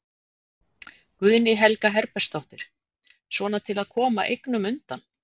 Guðný Helga Herbertsdóttir: Svona til að koma eignum undan?